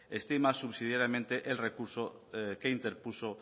estima subsidiariamente el recurso que interpuso